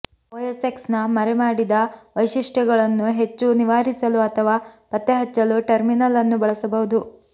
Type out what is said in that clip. OS ಎಕ್ಸ್ನ ಮರೆಮಾಡಿದ ವೈಶಿಷ್ಟ್ಯಗಳನ್ನು ಹೆಚ್ಚು ನಿವಾರಿಸಲು ಅಥವಾ ಪತ್ತೆಹಚ್ಚಲು ಟರ್ಮಿನಲ್ ಅನ್ನು ಬಳಸಬಹುದು